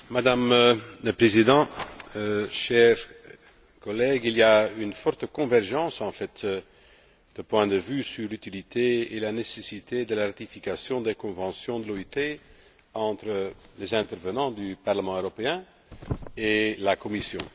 Madame la Présidente, chers collègues, il y a une forte convergence de points de vue sur l'utilité et la nécessité de la ratification des conventions de l'OIT, entre les intervenants du Parlement européen et la Commission.